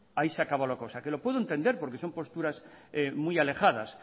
ahí se acabó la cosa lo puede entender porque son posturas muy alejadas